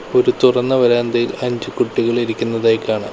ഒരു തുറന്ന വരാന്തയിൽ അഞ്ചു കുട്ടികൾ ഇരിക്കുന്നതായി കാണാം.